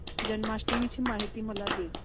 जन्माष्टमी ची माहिती मला दे